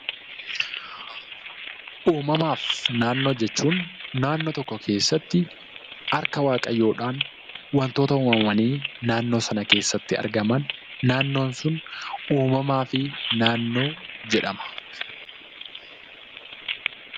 Uumamaa fi naannoo jechuun naannoo tokko keessatti harka waaqayyoodhaan waantota uumamanii naannoo sana keessatti argaman, naannoon sun uumamaa fi naannoo jedhama.